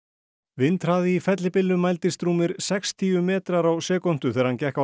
vindhraði í fellibylnum mældist rúmir sextíu metrar á sekúndu þegar hann gekk á